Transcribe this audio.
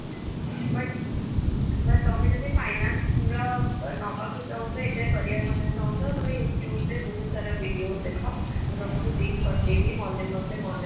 but ବ ତମେ ଯଦି finance ପୁରା ନବାକୁ ଚାହୁଁଚ ଏଇଥିରେ career ବନେଇବାକୁ ଚାହୁଁଚ ତମେ YouTube ରେ ବହୁତ ସାରା videos ଦେଖ ମୁଁ ତମକୁ link ପଠେଇବି ମନେ ମତେ ମନେ